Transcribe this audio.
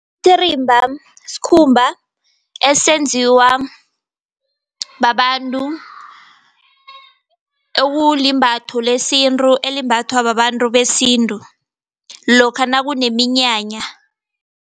Isititirimba skhumba esenziwa babantu, ekulimbatho lesintu elimbathwa babantu besintu, lokha nakuneminyanya.